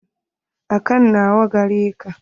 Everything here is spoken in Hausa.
Akant nawa gareka?